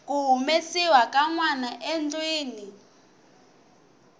ku humesiwa ka nwanaendlwini